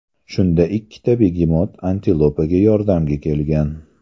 Shunda ikkita begemot antilopaga yordamga kelgan.